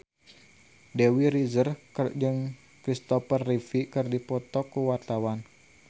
Dewi Rezer jeung Kristopher Reeve keur dipoto ku wartawan